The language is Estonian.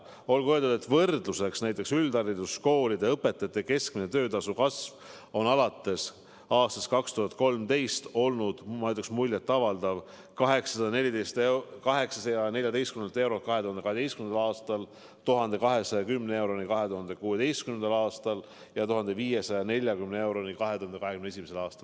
Olgu öeldud võrdluseks, et näiteks üldhariduskoolide õpetajate keskmise töötasu kasv on 2012. aastast alates olnud muljetavaldav: 814 eurolt 2012. aastal 1210 euroni 2016. aastal ja 1540 euroni 2021. aastal.